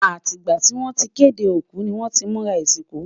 àti gbà tí wọn tí kéde òkú ní wón tí múra isinku